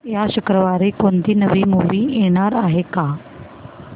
या शुक्रवारी कोणती नवी मूवी येणार आहे का